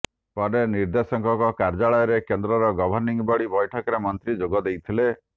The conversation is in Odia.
ପରେ ନିର୍ଦ୍ଦେଶକଙ୍କ କାର୍ଯ୍ୟାଳୟରେ କେନ୍ଦ୍ରର ଗଭର୍ଣ୍ଣିଂ ବଡି ବୈଠକରେ ମନ୍ତ୍ରୀ ଯୋଗ ଦେଇଥିଲେ